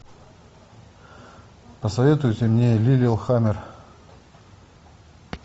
посоветуйте мне лиллехаммер